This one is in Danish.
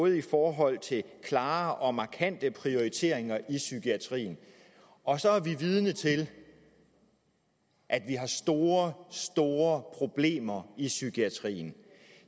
i forhold til klare og markante prioriteringer i psykiatrien og så er vi vidne til at vi har store store problemer i psykiatrien